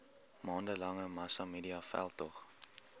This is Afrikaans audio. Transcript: maande lange massamediaveldtog